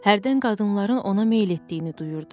Hərdən qadınların ona meyil etdiyini duyurdu.